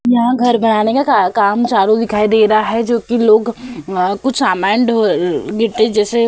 यहां घर बनाने का काम चालू दिखाई दे रहा है जो कि लोग कुछ समान ढो गिट्टी जैसे --